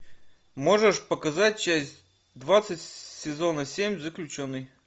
можешь показать часть двадцать сезона семь заключенный